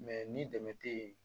ni dɛmɛ te yen